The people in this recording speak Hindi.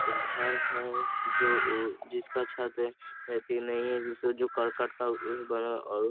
एक घर है जो उ जिसका छत रहती नही है जिसका जो कररकट का बना --